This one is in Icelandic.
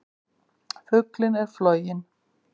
Fuglinn er floginn!